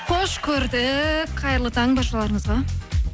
қош көрдік қайырлы таң баршаларыңызға